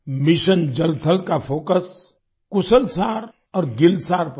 mission जल थल का फोकस कुशल सार और गिल सार पर है